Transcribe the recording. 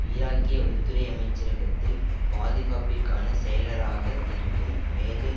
ஈராக்கிய உள்துறை அமைச்சரகத்தில் பாதுகாப்பிற்கான செயலராக இருக்கும் மேஜர்